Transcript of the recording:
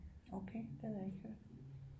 Okay det havde jeg ikke hørt